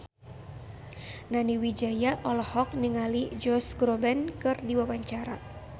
Nani Wijaya olohok ningali Josh Groban keur diwawancara